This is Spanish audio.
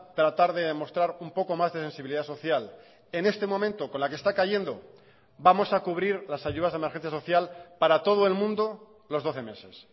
tratar de demostrar un poco más de sensibilidad social en este momento con la que está cayendo vamos a cubrir las ayudas de emergencia social para todo el mundo los doce meses